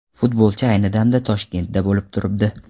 Futbolchi ayni damda Toshkentda bo‘lib turibdi.